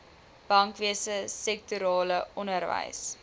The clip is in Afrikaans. bankwese sektorale onderwys